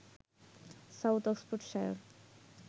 south Oxfordshire